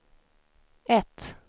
ett